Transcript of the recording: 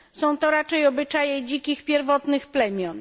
Są to raczej obyczaje dzikich, pierwotnych plemion.